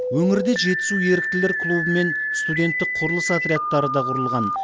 өңірде жетісу еріктілер клубы мен студенттік құрылыс отрядтары да құрылған